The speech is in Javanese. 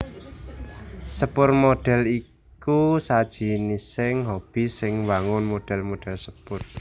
Sepur modèl iku sajinising hobi sing mbangun modèl modèl sepur